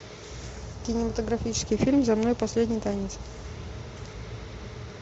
кинематографический фильм за мной последний танец